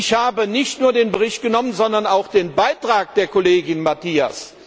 Ich habe nicht nur den Bericht genommen, sondern auch den Beitrag der Kollegin Matias.